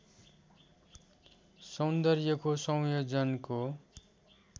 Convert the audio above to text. सौन्दर्यको संयोजनको